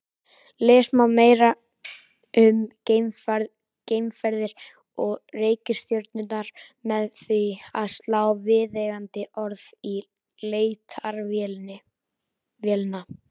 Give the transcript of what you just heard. Lesa má meira um geimferðir og reikistjörnurnar með því að slá viðeigandi orð í leitarvélina.